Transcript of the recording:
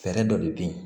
Fɛɛrɛ dɔ de bɛ ye